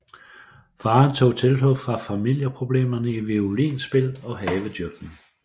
Faren tog tilflugt fra familieproblemerne i violinspil og havedyrkning